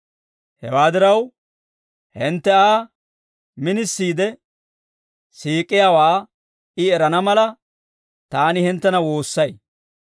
Hewaa diraw, hintte Aa minisiide siik'iyaawaa I erana mala, taani hinttena woossay.